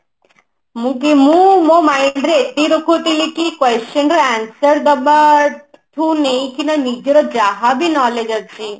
ମୁଁ କି ମୋ mind ରେ ଏତିକି ରଖୁଥିଲି କି question ର answer ଦବା ଠୁ ନେଇକି ନିଜର ଯାହା ବି knowledge ଅଛି